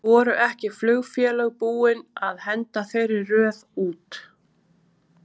Voru ekki flugfélög búinn að henda þeirri röð út?